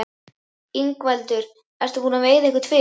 Ingveldur: Ertu búinn að veiða einhvern fisk?